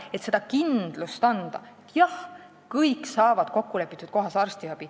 Neile oleks tulnud anda kindlust, et kõik saavad arstiabi kokkulepitud kohas.